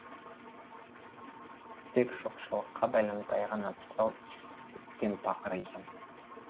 тек жоқшылыққа байланып аяғына тұсау түскен пақыр екен